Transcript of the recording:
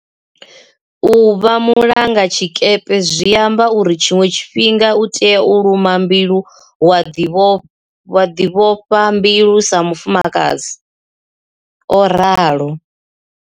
U vha mulangazwikepe zwi amba uri tshiṅwe tshifhinga u tea u luma mbilu wa ḓivhofha mbilu sa musadzi, o ralo.